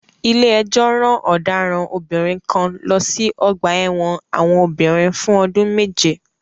Ilé-ẹjọ́ ran ọ̀daràn obìnrin kan lọ sí ọgbà-ẹ̀wọn àwọn obìnrin fún ọdún méje.